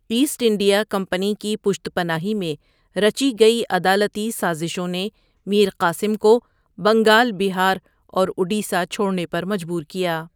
Asset India Company کی پشت پناہی میں رچی گیؑ عدالتی سازشوں نے میر قاسم کو بنگال، بہار اور اڈیسہ چھوڑنے پر مجبور کیا۔